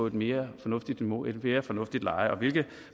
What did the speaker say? et mere fornuftigt niveau et mere fornuftigt leje og hvilke